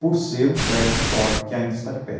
por ser um prédio histórico que ainda está de pé.